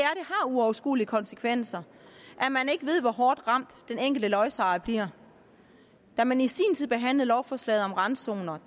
har uoverskuelige konsekvenser når man ikke ved hvor hårdt ramt den enkelte lodsejer bliver da man i sin tid behandlede lovforslaget om randzoner